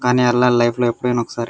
కానీ ఎళ్ళాలి లైఫ్ లో ఎప్పుడైనా ఒకసారి.